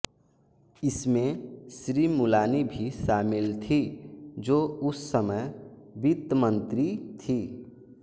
इसमें श्री मुलानी भी शामिल थी जो उस समय वित्त मंत्री थी